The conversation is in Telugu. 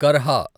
కర్హా